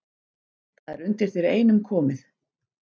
Það er undir þér einum komið